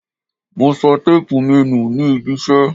Mo sọ téépù mi nù nih ibiṣẹ́.